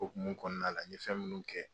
Okumu kɔɔna la n ye fɛn minnu kɛ